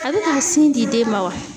A bɛ ka sin di den ma wa?